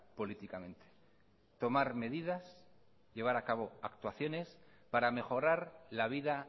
políticamente tomar medidas llevar a cabo actuaciones para mejorar la vida